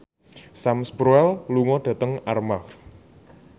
Sam Spruell lunga dhateng Armargh